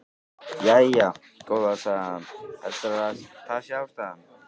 Jæja, góða, sagði hann, heldurðu að það sé ástæðan?